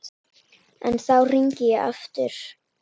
En þá er hringt aftur.